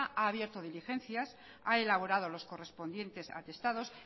ha abierto diligencias ha elaborado los correspondientes atestados